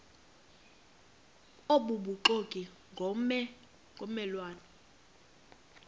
obubuxoki ngomme lwane